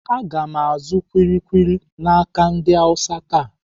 Aga m azụ kuli kuli n'aka ndị Awụsa taa.